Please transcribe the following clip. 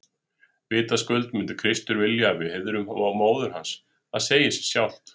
Vitaskuld myndi Kristur vilja að við heiðruðum móður hans, það segir sig sjálft!